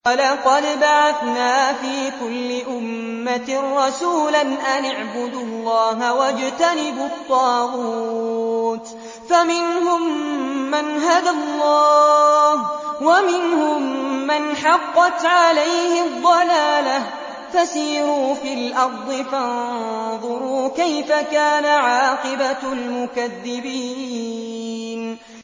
وَلَقَدْ بَعَثْنَا فِي كُلِّ أُمَّةٍ رَّسُولًا أَنِ اعْبُدُوا اللَّهَ وَاجْتَنِبُوا الطَّاغُوتَ ۖ فَمِنْهُم مَّنْ هَدَى اللَّهُ وَمِنْهُم مَّنْ حَقَّتْ عَلَيْهِ الضَّلَالَةُ ۚ فَسِيرُوا فِي الْأَرْضِ فَانظُرُوا كَيْفَ كَانَ عَاقِبَةُ الْمُكَذِّبِينَ